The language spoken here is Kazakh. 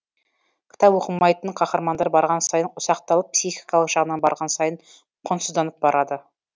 кітап оқымайтын қаһармандар барған сайын ұсақталып психикалық жағынан барған сайын құнсызданып барады